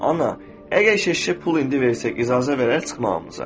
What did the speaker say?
Ana, əgər keşişə pul indi versək icazə verər çıxmağımıza?